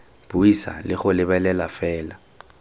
buisa le go lebelela fela